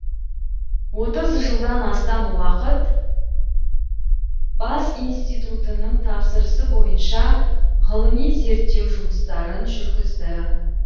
отыз жылдан астам уақыт бас институтының тапсырысы бойынша ғылыми зерттеу жұмыстарын жүргізді